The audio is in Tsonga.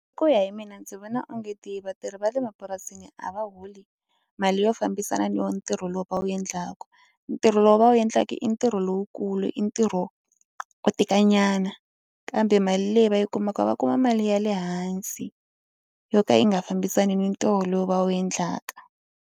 Ku ya hi mina ndzi vona onge ti vatirhi va le mapurasini a va holi mali yo fambisana ni wo ntirho lowu va wu endlaka. Ntirho lowu va wu endlaka i ntirho lowukulu i ntirho wo tikanyana kambe mali leyi va yi kumaka va kuma mali ya le hansi yo ka yi nga fambisaniki ntirho lowu va wu endlaka.